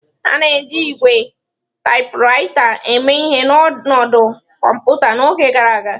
A na-eji ígwè taịpụraịta eme ihe n'ọnọdụ kọmputa n'oge gara aga.